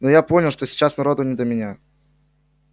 но я понял что сейчас народу не до меня